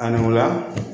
Ani ola